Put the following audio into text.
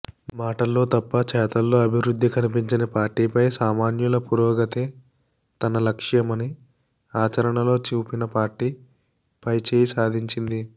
మాటల్లో తప్ప చేతల్లో అభివృద్ధి కన్పించని పార్టీపై సామాన్యుల పురోగతే తన లక్ష్యమని ఆచరణలో చూపిన పార్టీ పైచేయి సాధించింది